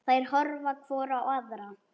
Þær horfa hvor á aðra.